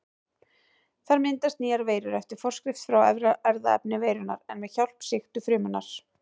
Þar myndast nýjar veirur eftir forskrift frá erfðaefni veirunnar en með hjálp sýktu frumunnar.